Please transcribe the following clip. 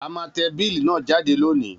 A má te bill náà jáde lónìí